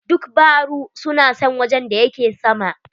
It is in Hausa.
Duk baru su na son wajen da yake sama.